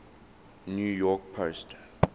new york post